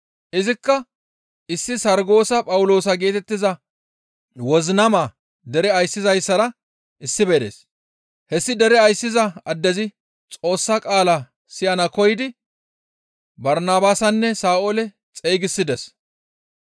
Izikka issi Sarggoosa Phawuloosa geetettiza wozinama dere ayssizayssara issife dees; hessi dere ayssiza addezi Xoossa qaala siyana koyidi Barnabaasanne Sa7oole xeygisides.